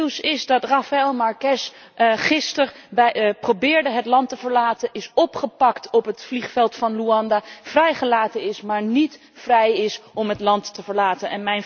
Het nieuws is dat Rafael Marques gisteren probeerde het land te verlaten, is opgepakt op het vliegveld van Luanda, vrijgelaten is, maar niet vrij is om het land te verlaten.